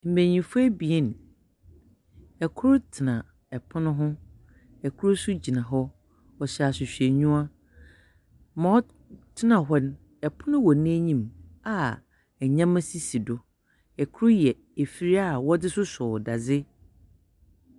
Mbenyimfo ebien, kor tsena pon ho, kor nso gyina hɔ. Wɔhyɛ ahwehwɛnyiwa. Ma ɔtsena hɔ no, pon wɔ n'enyim a nyeɛma sisi do. Kor yɛ afir wɔdze sosɔw dadze.